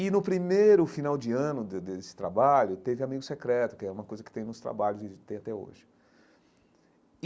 E no primeiro final de ano de desse trabalho, teve amigo secreto, que é uma coisa que tem nos trabalhos e tem até hoje.